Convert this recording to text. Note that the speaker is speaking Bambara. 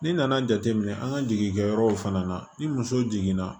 N'i nana jateminɛ an ka jigi kɛ yɔrɔ fana na ni muso jiginna